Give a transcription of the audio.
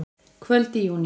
Kvöld í júní.